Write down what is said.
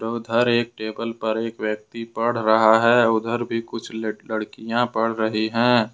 उधर एक टेबल पर एक व्यक्ति पढ़ रहा है उधर भी कुछ लड़कियां पढ़ रहे हैं।